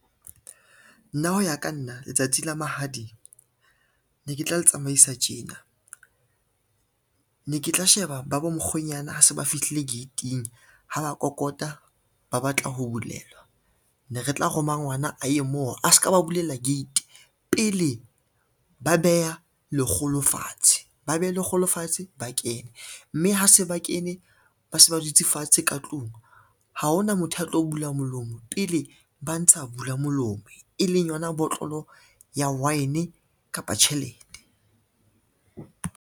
Nna ho ya ka nna letsatsi la mahadi, ne ke tla le tsamaisa tjena. Ne ke tla sheba ba bo mokgwenyana ha se ba fihlile gate-ing ha ba kokota ba batla ho bulelwa, ne re tla roma ngwana a ye moo a ska ba bulela gate pele ba beha lekgolo fatshe, ba beha lekgolo fatshe ba kene, mme ha se ba kene ba se ba dutse fatshe ka tlung, ha hona motho a tlo bula molomo pele ba ntsha bula molomo, e leng yona botlolo ya wine kapa tjhelete.